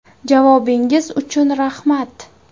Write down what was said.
Javobingiz uchun rahmat!